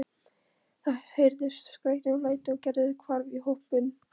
Það heyrðust skrækir og læti og Gerður hvarf í hópinn.